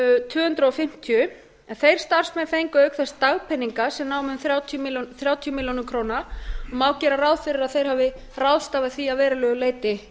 tvö hundruð fimmtíu en þeir starfsmenn fengu auk þess dagpeninga sem námu um þrjátíu milljónir króna og má gera ráð fyrir því að þeir hafi ráðstafað því að verulegu leyti